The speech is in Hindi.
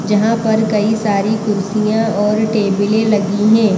जहाँ पर कई सारी कुर्सियाँ और टेबलें लगी हैं।